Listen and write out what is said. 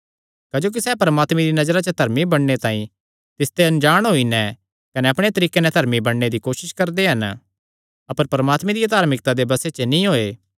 क्जोकि सैह़ परमात्मे दिया नजरा च धर्मी बणने तांई तिसते अणजाण होई नैं कने अपणे तरीके नैं धर्मी बणने दी कोसस करदे हन अपर परमात्मे दिया धार्मिकता दे बसे च नीं होये